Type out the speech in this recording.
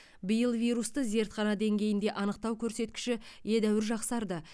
биыл вирусты зертхана деңгейінде анықтау көрсеткіші едәуір жақсарды